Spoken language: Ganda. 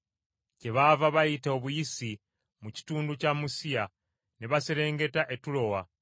Kyebaava bayita obuyisi mu kitundu kya Musiya ne baserengeta e Tulowa.